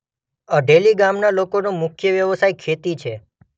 અઢેલી ગામના લોકોનો મુખ્ય વ્યવસાય ખેતી છે.